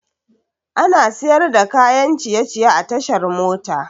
Ana siyar da kayan ciye ciye a tashar mota